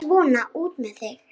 Svona, út með þig!